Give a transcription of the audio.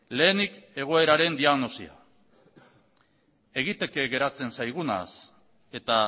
lehenik egoeraren diagnosia egiteke geratzen zaigunaz eta